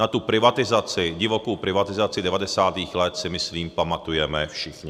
Na tu privatizaci, divokou privatizaci 90. let, si myslím pamatujeme všichni.